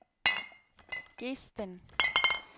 Gesten